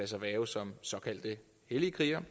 sig hverve som såkaldte hellige krigere